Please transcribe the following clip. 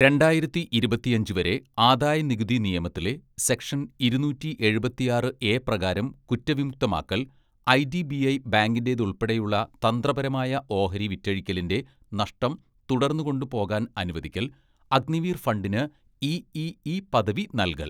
രണ്ടായിരത്തി ഇരുപത്തിയഞ്ച്‌ വരെ ആദായനികുതി നിയമത്തിലെ സെക്ഷൻ ഇരുന്നൂറ്റി എഴുപത്തിയാറ്‌ എ പ്രകാരം കുറ്റവിമുക്തമാക്കൽ, ഐഡിബിഐ ബാങ്കിന്റേതുൾപ്പെടെയുള്ള തന്ത്രപരമായ ഓഹരി വിറ്റഴിക്കലിന്റെ നഷ്ടം തുടർന്ന് കൊണ്ട് പോകാൻ അനുവദിക്കൽ, അഗ്നിവീർ ഫണ്ടിന് ഇഇഇ പദവി നൽകൽ.